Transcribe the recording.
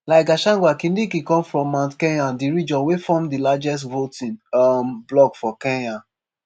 like gachagua kindiki come from mount kenya - di region wey form di largest voting um block for kenya.